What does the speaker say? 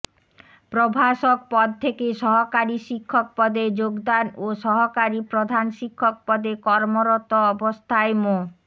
প্রভাষক পদ থেকে সহকারী শিক্ষক পদে যোগদান ও সহকারী প্রধান শিক্ষক পদে কর্মরত অবস্থায় মো